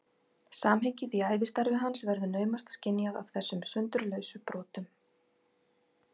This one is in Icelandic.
Samhengið í ævistarfi hans verður naumast skynjað af þessum sundurlausu brotum.